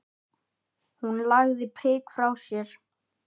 Hún lagði prikið frá sér.